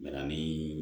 Bana min